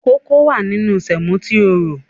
Kókó wà nínú sèmò tí o rò.